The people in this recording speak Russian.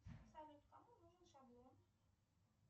салют кому нужен шаблон